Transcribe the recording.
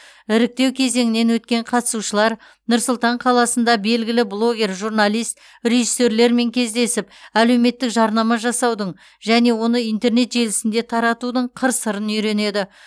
іріктеу кезеңінен өткен қатысушылар нұр сұлтан қаласында белгілі блогер журналист режиссерлермен кездесіп әлеуметтік жарнама жасаудың және оны интернет желісінде таратудың қыр сырын үйренеді